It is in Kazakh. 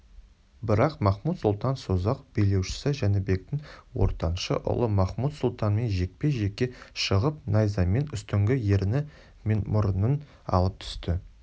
бірақ махмуд-сұлтан созақ билеушісі жәнібектің ортаншы ұлы махмұт-сұлтанмен жекпе-жекке шығып найзамен үстіңгі ерні мен мұрынын алып түсті